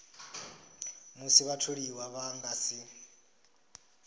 musi vhatholiwa vha nga si